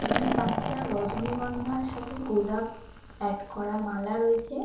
এখানে পাঁচটা রজনীগন্ধার সাথে গোলাপ অ্যাড করা মালা রয়েছে।